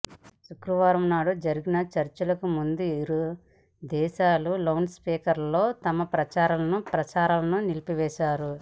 శుక్రవారం నాడు జరిగిన చర్చలకు ముందు ఇరు దేశాలూ ఈ లౌడ్ స్పీకర్లలో తమ ప్రచార ప్రసారాలను నిలిపివేశాయి